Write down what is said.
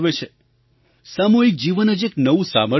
સામૂહિક જીવન જ એક નવું સામર્થ્ય આપે છે